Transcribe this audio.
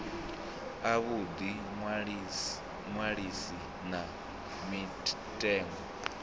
a vhuḓi ṅwalisi na mitengo